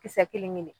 Kisɛ kelen kelen